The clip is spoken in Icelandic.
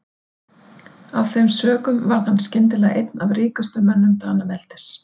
Af þeim sökum varð hann skyndilega einn af ríkustu mönnum Danaveldis.